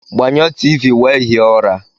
Gbanyụọ T.v wee hie ụra!